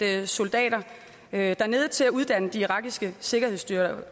have soldaterne dernede til at uddanne de irakiske sikkerhedsstyrker